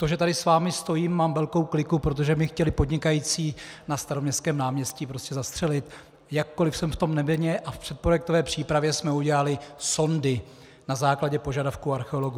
To, že tady s vámi stojím, mám velkou kliku, protože mě chtěli podnikající na Staroměstském náměstí prostě zastřelit, jakkoli jsem v tom nevinně a v předprojektové přípravě jsme udělali sondy na základě požadavků archeologů.